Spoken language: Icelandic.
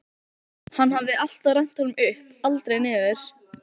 Hann hafði alltaf rennt honum upp, aldrei niður.